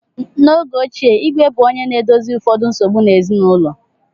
N’oge ochie, Igwe bụ onye na-edozi ụfọdụ nsogbu ezinụlọ.